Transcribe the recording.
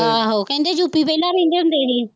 ਕਹਿੰਦੇ ਵਿਹਲਾ ਕਹਿੰਦੇ ਹੁੰਦੇ ਸੀ